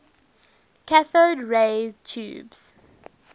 cathode ray tubes